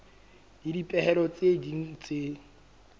le dipehelo tse ding tse